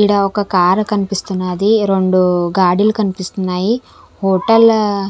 ఈడ ఒక కార్ కనిపిస్తున్నాది రెండు గాడిలు కనిపిస్తున్నాయి హోటల్ ఆహ్